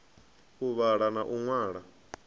u vhala na u ṅwala